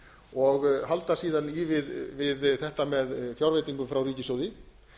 og halda síðan í við þetta með fjárveitingu frá ríkissjóði